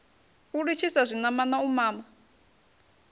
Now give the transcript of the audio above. u litshisa zwinamana u mama